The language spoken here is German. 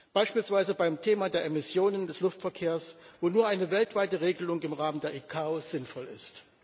Beispielsweise beim Thema der Emissionen des Luftverkehrs, wo nur eine weltweite Regelung im Rahmen der ICAO sinnvoll ist.